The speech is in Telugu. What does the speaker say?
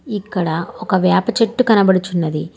ఇక్కడ ఒక వేప చెట్టు కనబడుచున్నది.